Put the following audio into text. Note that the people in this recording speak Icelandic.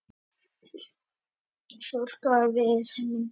Sumir þrjóskast við yfir myndbandinu.